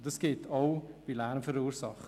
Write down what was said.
Und das gilt auch für Lärmemissionen.